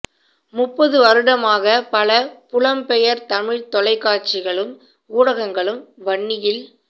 முப்பது வருடமாக பல புலம்பெயர் தமிழ் தொலைக்காட்சிகழும் ஊடகங்கழும் வன்னியில்